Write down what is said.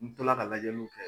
N tola ka lajɛjiw kɛ